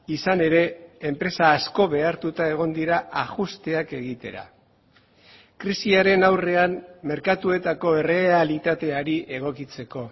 izan ere enpresa asko behartuta egon dira ajusteak egitera krisiaren aurrean merkatuetako errealitateari egokitzeko